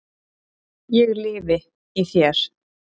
ég lifi í þér.